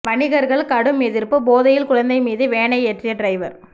வணிகர்கள் கடும் எதிர்ப்பு போதையில் குழந்தை மீது வேனை ஏற்றிய டிரைவர்